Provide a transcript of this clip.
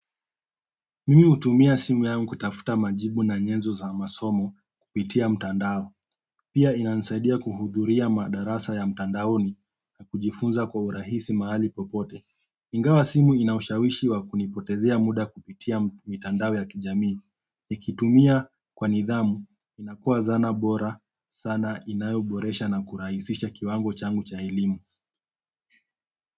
Mimi hutumia simu yangu kutafuta majibu na nyenzo za masomo kupitia mtandao. Pia inanisaidia kuhudhuria madarasa ya mtandaoni na kujifunza kwa urahisi mahali popote. Ingawa simu inaushawishi wa kunipotezea muda kupitia mitandao ya kijamii. Nikitumia kwa nidhamu inakua zana bora sana inayoboresha na kurahisisha kiwango changu cha elimu.